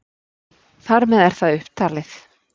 þar með er það upptalið